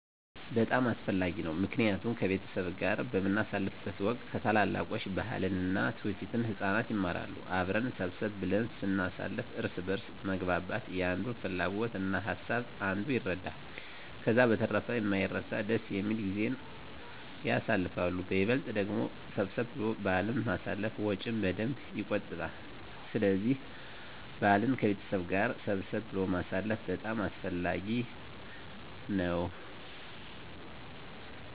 በጣም አስፈላጊ ነው ምክንያቱም ከቤተሰብ ጋር በምናሳልፍበት ወቅት ከታላላቆች ባህልን እና ትውፊትን ህፃናት ይማራሉ። አብረን ሰብሰብ ብለን ስናሳልፍ እርስ በእርስ መግባባት የአንዱን ፍላጎት እና ሀሳብ አንዱ ይረዳል። ከዛ በተረፈ የማይረሳ ደስ የሚል ጊዜን ያሳልፋሉ በይበልጥ ደግሞ ሰብሰብ ብሎ በአልን ማሳለፍ ወጭን በደንብ የቆጥባል ስለዚህ በአልን ከቤተሰብ ጋር ሰብሰብ ብሎ ማሳለፍ በጣም አስፈላጊ ነው።